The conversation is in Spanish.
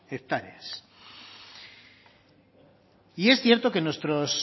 hectáreas y es cierto que nuestros